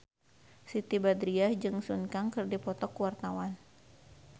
Siti Badriah jeung Sun Kang keur dipoto ku wartawan